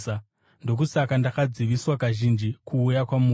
Ndokusaka ndakadziviswa kazhinji kuuya kwamuri.